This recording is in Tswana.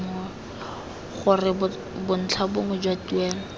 gore bontlha bongwe jwa tuelo